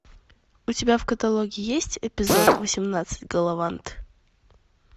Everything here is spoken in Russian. у тебя в каталоге есть эпизод восемнадцать галавант